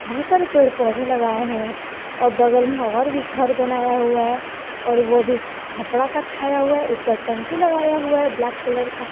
बहुत सारे पेड़ पौधे लगाए हुए हैं और बगल में और भी घर बनाया हुआ है और वो भी खपड़ा का छाया हुआ है ऊपर टंकी लगाया हुआ है ब्लैक कलर का।